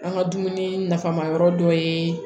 An ka dumuni nafama yɔrɔ dɔ ye